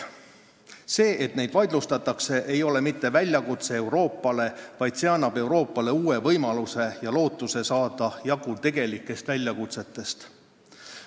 Mitte see, et neid vaidlustatakse, ei ole väljakutse Euroopale, see annab Euroopale uue võimaluse ja lootuse saada jagu tegelikest väljakutsetest.